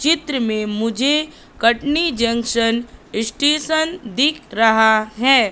चित्र में मुझे कटनी जंक्शन स्टेशन दिख रहा है।